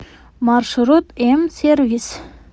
маршрут м сервис